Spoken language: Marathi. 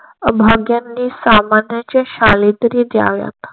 भाग यांनी सामान्यांचे शाली तरी द्याव्यात.